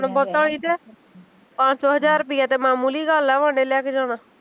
ਹੁਣ ਬਹੁਤਾਂ ਨੀ ਕਿ ਪੰਜ ਸੋਂ ਹਜ਼ਾਰ ਰੁੱਪਈਆ ਮਾਮੂਲੀ ਗੱਲ ਆ ਬਾਡੇ ਲੈ ਕੇ ਜਾਣਾ